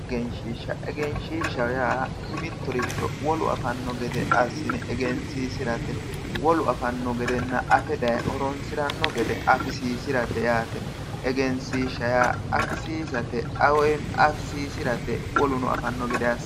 Egeenshiishsha ,Egeenshiishsha yaa mitto wolu afano gede assine egensiisirate, wolu afano gedenna affe daaye horonsirano gede afisisirate yaate, egenisishsha yaa afisiisirate woluno afano gede